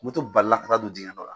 Moto balila ka taa don dingɛn dɔ la.